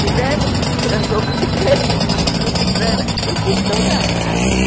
Fulano transou com ciclana, eu fiz toda a árvore.